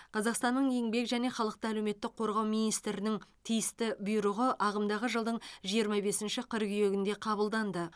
қазақстанның еңбек және халықты әлеуметтік қорғау министрінің тиісті бұйрығы ағымдағы жылдың жиырма бесінші қыркүйегінде қабылданды